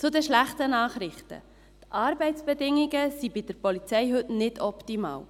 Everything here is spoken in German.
Zu den schlechten Nachrichten: Die Arbeitsbedingungen bei der Polizei sind heute nicht optimal.